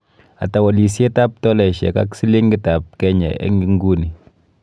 Ata walisietap tolaisiek ak silingitap Kenya eng' ing'uni